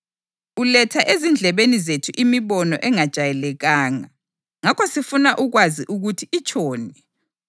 Uletha ezindlebeni zethu imibono engajayelekanga, ngakho sifuna ukwazi ukuthi itshoni.”